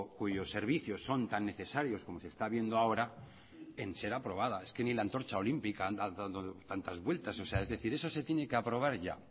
cuyos servicios son tan necesarios como se está viendo ahora en ser aprobada es que ni la antorcha olímpica anda dando tantas vueltas es decir eso se tiene que aprobar ya